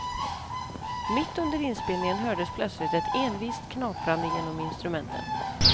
Mitt under inspelningen hördes plötsligt ett envist knaprande genom instrumenten.